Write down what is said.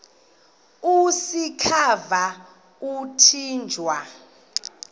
usikhova yathinjw a